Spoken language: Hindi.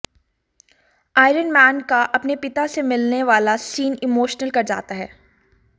आयरन मैन का अपने पिता से मिलने वाला सीन इमोशनल कर जाता है